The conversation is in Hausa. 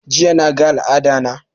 Jiya na ga al'ada na